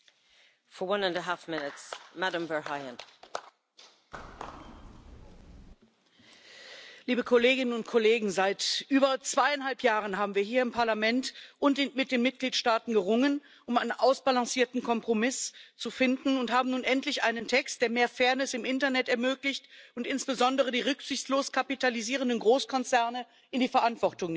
Frau Präsidentin, liebe Kolleginnen und Kollegen! Seit über zweieinhalb Jahren haben wir hier im Parlament und mit den Mitgliedstaaten gerungen, um einen ausbalancierten Kompromiss zu finden, und haben nun endlich einen Text, der mehr Fairness im Internet ermöglicht und insbesondere die rücksichtslos kapitalisierenden Großkonzerne in die Verantwortung nimmt.